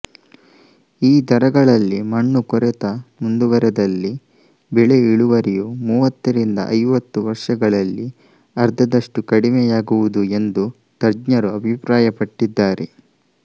ಈ ದರಗಳಲ್ಲಿ ಮಣ್ಣು ಕೊರೆತ ಮುಂದುವರೆದಲ್ಲಿ ಬೆಳೆ ಇಳುವರಿಯು ಮೂವತ್ತರಿಂದ ಐವತ್ತು ವರ್ಷಗಳಲ್ಲಿ ಅರ್ಧದಷ್ಟು ಕಡಿಮೆಯಾಗುವುದು ಎಂದು ತಜ್ಞರು ಅಭಿಪ್ರಾಯಪಟ್ಟಿದ್ದಾರೆ